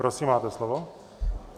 Prosím, máte slovo.